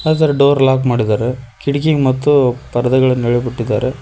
ಅದರೆ door lock ಮಾಡಿದ್ದಾರೆ ಕಿಡಕಿ ಮತ್ತು ಪರದೆಗಳನ್ನ ಇಳೆ ಬಿಟ್ಟಿದ್ದಾರೆ.